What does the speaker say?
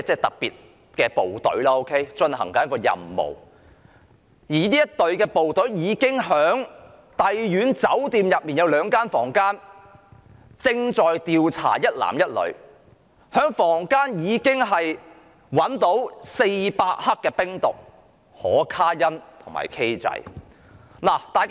當時旺角警區特別職務隊正在帝苑酒店的兩間房間調查一男一女，在房間內找到400克冰毒、可卡因和 "K 仔"。